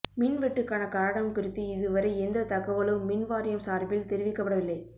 மின் வெட்டுக்கான காரணம் குறித்து இதுவரை எந்தத் தகவலும் மின் வாரியம் சார்பில் தெரிவிக்கப்படவில்லை